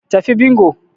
Tafi bingo